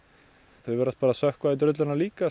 þau virðast bara sökkva í drulluna líka en